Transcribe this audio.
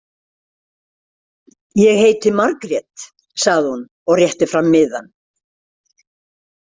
Ég heiti Margrét, sagði hún og rétti fram miðann.